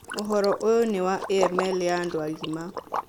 Ũhoro ũyũ nĩ wa AML ya andũ agima.